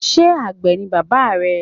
Is your father a farmer?